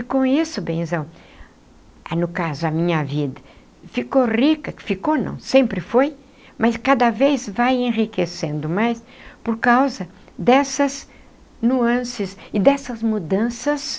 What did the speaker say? E com isso, benzão, aí no caso a minha vida ficou rica, ficou não, sempre foi, mas cada vez vai enriquecendo mais, por causa dessas nuances e dessas mudanças,